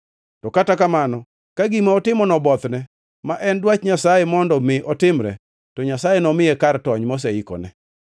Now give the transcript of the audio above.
To kata kamano, ka gima otimono obothne, ma en dwach Nyasaye mondo mi otimre; to Nyasaye nomiye kar tony moseikone.